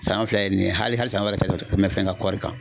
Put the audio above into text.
Saɲɔn filɛ ye nin ye hali saɲɔn wɛrɛ tɛ tɛmɛ fɛn ka kɔɔri kan.